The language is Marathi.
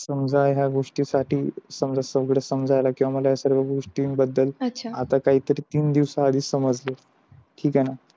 समझा ह्या गोष्टी साठी समजत पकडत सगड समझायाला किवा या सगळ्या गोष्टीन बदल आता काही तरी तीन दिवसा आदि समजल. ठीक आहे न.